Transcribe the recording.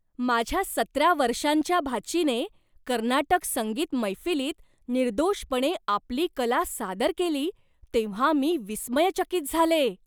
माझ्या सतरा वर्षांच्या भाचीने कर्नाटक संगीत मैफिलीत निर्दोषपणे आपली कला सादर केली तेव्हा मी विस्मयचकित झाले.